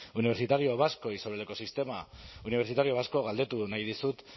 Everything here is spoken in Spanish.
universitario vasco y sobre el ecosistema universitario vasco galdetu nahi dizut